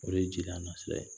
O ye jeliya na sira ye